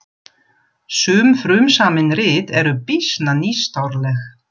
Sum frumsamin rit eru býsna nýstárleg.